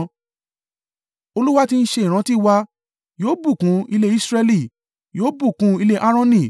Olúwa tí ń ṣe ìrántí wa; yóò bùkún ilé Israẹli; yóò bùkún ilé Aaroni.